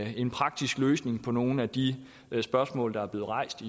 en praktisk løsning på nogle af de spørgsmål der er blevet rejst